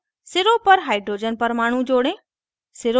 अब सिरों पर hydrogen परमाणु जोड़ें